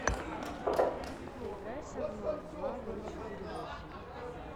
поиграй со мной в два ноль четыре восемь